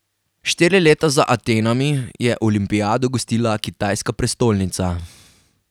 Štiri leta za Atenami je olimpijado gostila kitajska prestolnica.